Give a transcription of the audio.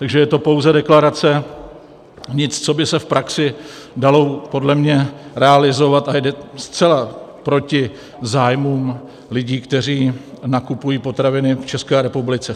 Takže je to pouze deklarace, nic, co by se v praxi dalo podle mě realizovat, a jde zcela proti zájmům lidí, kteří nakupují potraviny v České republice.